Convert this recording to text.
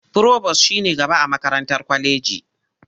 Firobos shi ne shugaba a makarantar kwaleji.